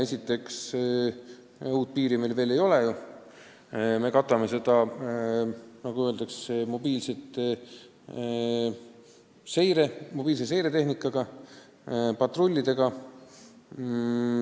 Esiteks, uut piiri meil veel ei ole, me katame seda, nagu öeldakse, mobiilse seiretehnikaga, patrullidega.